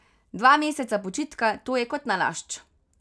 Dva meseca počitka, to je kot nalašč.